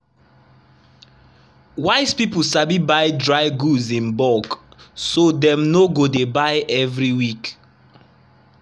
wise people sabi buy dry goods in bulk so dem no go dey buy every week.